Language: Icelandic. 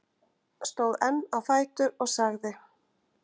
Stóð enn á fætur og sagði